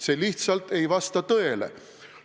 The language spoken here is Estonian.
See lihtsalt ei vasta tõele.